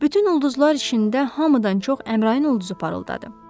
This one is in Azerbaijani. Bütün ulduzlar içində hamıdan çox Əmrayın ulduzu parıldadı.